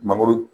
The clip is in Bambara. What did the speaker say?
Mangoro